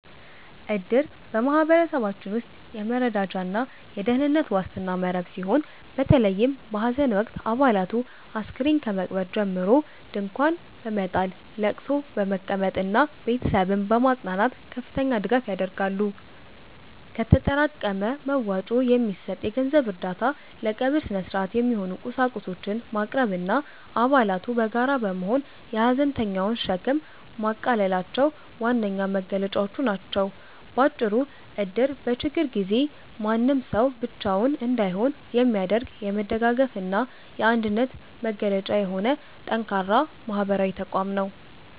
እድር በማኅበረሰባችን ውስጥ የመረዳጃና የደኅንነት ዋስትና መረብ ሲሆን፤ በተለይም በሐዘን ወቅት አባላቱ አስከሬን ከመቅበር ጀምሮ ድንኳን በመጣል፣ ለቅሶ በመቀመጥና ቤተሰብን በማጽናናት ከፍተኛ ድጋፍ ያደርጋሉ። ከተጠራቀመ መዋጮ የሚሰጥ የገንዘብ እርዳታ፣ ለቀብር ሥነ-ሥርዓት የሚሆኑ ቁሳቁሶችን ማቅረብና አባላቱ በጋራ በመሆን የሐዘንተኛውን ሸክም ማቃለላቸው ዋነኛ መገለጫዎቹ ናቸው። ባጭሩ እድር በችግር ጊዜ ማንም ሰው ብቻውን እንዳይሆን የሚያደርግ፣ የመደጋገፍና የአንድነት መገለጫ የሆነ ጠንካራ ማኅበራዊ ተቋም ነው።